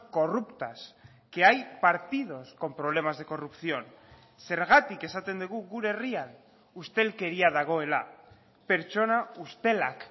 corruptas que hay partidos con problemas de corrupción zergatik esaten dugu gure herrian ustelkeria dagoela pertsona ustelak